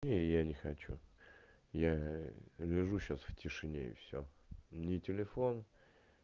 не я хочу я лежу сейчас в тишине и всё ни телефон